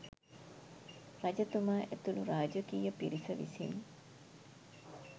රජතුමා ඇතුළු රාජකීය පිරිස විසින්